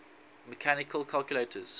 mechanical calculators